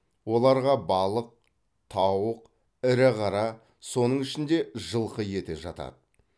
оларға балық тауық ірі қара соның ішінде жылқы еті жатады